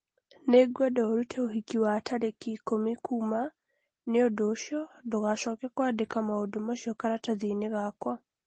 Nĩngwenda ũrute ũhiki wa tarĩki ikũmi kuuma Nĩ ũndũ ũcio, ndũgacoke kũandĩka maũndũ macio karatathi-inĩ gakwa.